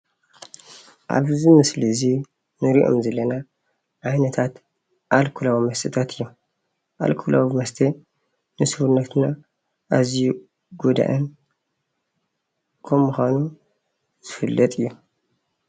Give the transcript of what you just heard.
ኣብዚ ምስሊ እዚ እንሪኦም ዘለና ዓይነታት ኣልኮላዊ መስተታት እዮም፡፡ ኣልኮላዊ መስተ ንሰውነትና ኣዝዩ ጎዳእን ከምምኳኑ ይፍለጥ እዩ፡፡